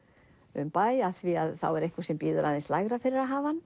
um bæ því þá er einhver sem býður aðeins lægra fyrir að hafa hann